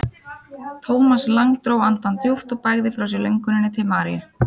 Thomas Lang dró andann djúpt og bægði frá sér lönguninni til Maríu.